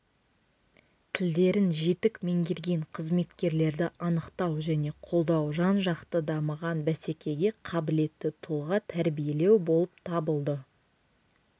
тілдерін жетік меңгерген қызметкерлерді анықтау және қолдау жан-жақты дамыған бәсекеге қабілетті тұлға тәрбиелеу болып табылды